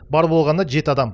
бар болғаны жеті адам